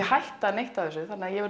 hætta neinu af þessu